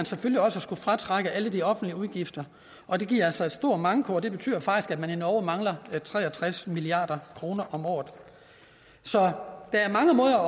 selvfølgelig også fratrukket alle de offentlige udgifter og det giver altså en stor manko og det betyder faktisk at man i norge mangler tre og tres milliard kroner om året så der er mange måder